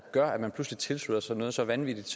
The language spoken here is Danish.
gør at man pludselig tilslutter sig noget så vanvittigt